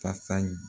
Fasa